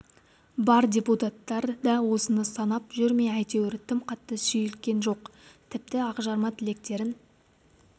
бар депутаттар да осыны санап жүр ме әйтеуір тым қатты шүйліккен жоқ тіпті ақжарма тілектерін